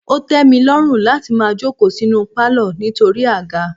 Ó tẹ mi lọ́run láti máa jókòó sínú palo nítorí àga.